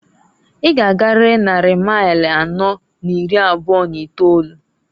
I g'agarịrị nnari mail anọọ n'iri abụọ n'itolu.